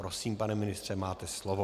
Prosím, pane ministře, máte slovo.